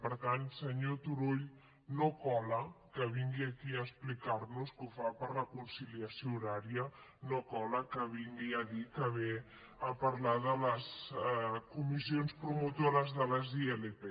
per tant senyor turull no cola que vingui aquí a explicar nos que ho fa per la conciliació horària no cola que vingui a dir que ve a parlar de les comissions promotores de les ilp